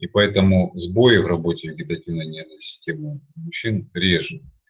и поэтому сбои в работе вегетативной нервной системы у мужчин реже